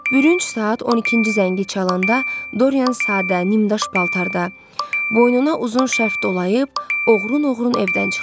Bürünc saat 12-ci zəngi çalanda Doryan sadə, nimdaş paltarda, boynuna uzun şərf dolayıb, oğrun-oğrun evdən çıxdı.